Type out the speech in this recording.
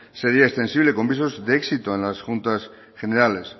sería extensible con visos de éxito en las juntas generales